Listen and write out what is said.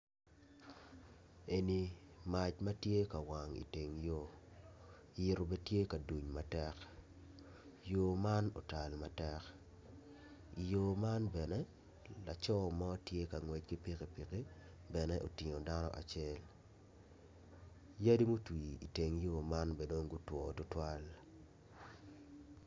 Eni mac ma tye ka wang i teng yo yitu bene tye ka duny matek yo man otal matek i yo man bene laco mo tye ka ngwec ki pikipiki bene otingo dano acel yadi mutwi iteng yo man bene dong gutwo tutwal